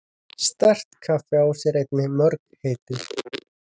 Sterka kaffið á sér einnig mörg heiti.